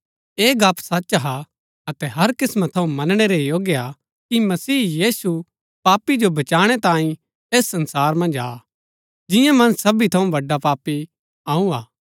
ऐह गप्‍प सच हा अतै हर किस्‍मां थऊँ मनणै रै योग्य हा कि मसीह यीशु पापी जो बचाणै तांई ऐस संसार मन्ज आ जिआं मन्ज सबी थऊँ बड्‍डा पापी अऊँ हा